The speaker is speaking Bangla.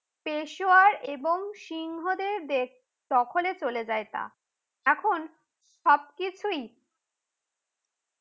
পেশুয়া এবং সিংহদের দখলে চলে যায় তা। তখন সব কিছুই